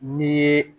Ni ye